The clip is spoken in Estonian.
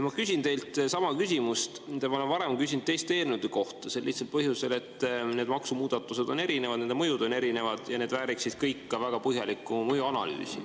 Ma küsin teilt sama küsimuse, mida ma olen varem küsinud teiste eelnõude kohta, sel lihtsal põhjusel, et need maksumuudatused on erinevad, nende mõju on erinev ja need vääriksid kõik ka väga põhjalikku mõjuanalüüsi.